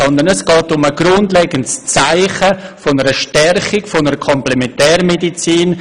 Es geht vielmehr um ein grundlegendes Zeichen der Stärkung der Komplementärmedizin.